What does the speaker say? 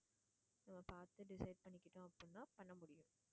பார்த்து decide பண்ணிக்கிட்டோம் அப்படின்னா பண்ண முடியும்